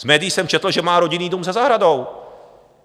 Z médií jsem četl, že má rodinný dům se zahradou.